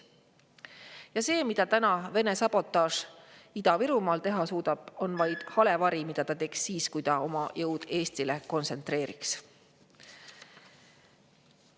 Ja see, mida täna Vene sabotaaž Ida-Virumaal teha suudab, on vaid hale vari sellest, mida ta teeks siis, kui ta oma jõud Eestile kontsentreeriks.